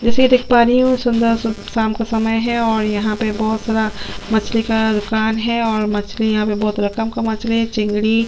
इसे देख पा रही हु सुन्दर शाम का समय है और यहाँ पे बहोत सारा मछली का दुकान है और मछली यहाँ पर बहोत रकम का मछली है चिंगरी --